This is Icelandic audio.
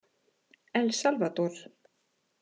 El Salvador